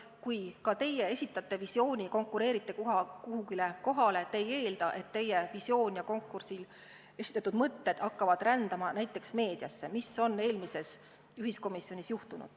Kui ka teie esitate visiooni, konkureerite mingile kohale, siis te ei eelda, et teie visioon ja konkursil esitatud mõtted hakkavad rändama näiteks meediasse, nagu eelmises ühiskomisjonis juhtus.